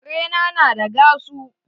Kare na na da gasu